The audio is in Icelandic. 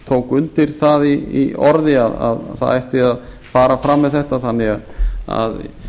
tók undir það í orði að það ætti að fara fram með þetta þannig að